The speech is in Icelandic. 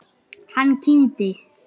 Hann kímdi.